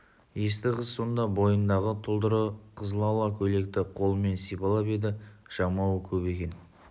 есті қыз сонда бойындағы тұлдыры қызылала көйлекті қолымен сипалап еді жамауы көп екен